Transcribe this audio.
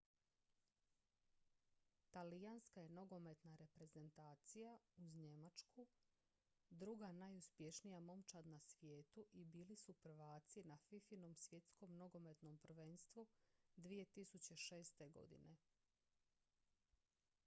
talijanska je nogometna reprezentacija uz njemačku druga najuspješnija momčad na svijetu i bili su prvaci na fifa-inom svjetskom nogometnom prvenstvu 2006. godine